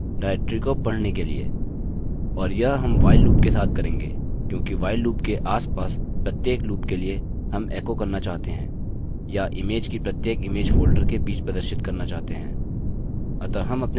और यह हम while लूप के साथ करेंगे क्योंकि while लूप के आसपास प्रत्येक लूप के लिए हम एको करना चाहते हैं या इमेज की प्रत्येक इमेज फोल्डर के बीच प्रदर्शित करना चाहते हैं